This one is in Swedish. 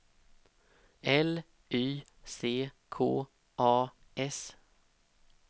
L Y C K A S